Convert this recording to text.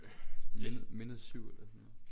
Mindet Mindet 7 eller sådan noget